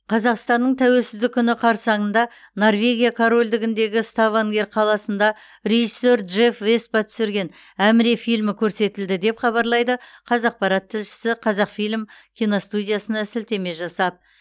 қазақстанның тәуелсіздік күні қарсаңында норвегия корольдігіндегі ставангер қаласында режиссер джефф веспа түсірген әміре фильмі көрсетілді деп хабарлайды қазақпарат тілшісі қазақфильм киностудиясына сілтеме жасап